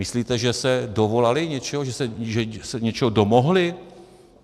Myslíte, že se dovolali něčeho, že se něčeho domohli?